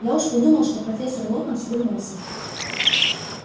я уж подумал это профессор локонс вернулся